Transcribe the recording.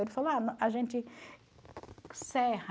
Ele falou, ah, a gente serra.